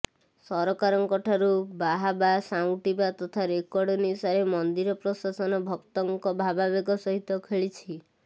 ସରକାରଙ୍କଠାରୁ ବାହାବା ସାଉଁଟିବା ତଥା ରେକର୍ଡ ନିଶାରେ ମନ୍ଦିର ପ୍ରଶାସନ ଭକ୍ତଙ୍କ ଭାବାବେଗ ସହିତ ଖେଳିଛି